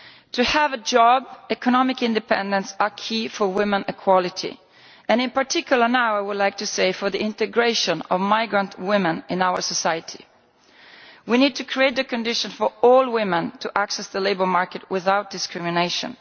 To have a job and economic independence are key for women's equality and, in particular now, for the integration of migrant women in our society. We need to create the conditions for all women to access the labour market without discrimination.